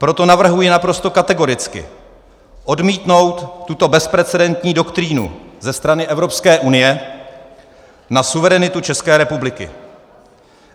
Proto navrhuji naprosto kategoricky odmítnout tuto bezprecedentní doktrínu ze strany Evropské unie na suverenitu České republiky.